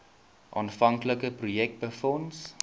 aanvanklike projek befonds